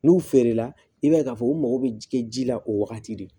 N'u feere la i b'a ye k'a fɔ u mago bɛ ji kɛ ji la o wagati de